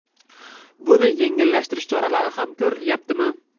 Buni yengillashtirish choralari ham ko‘rilyaptimi?